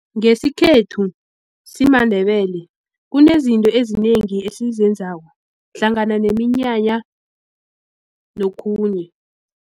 Ngesikhethu simaNdebele kunezinto ezinengi esizenzako hlangana neminyanya nokhunye.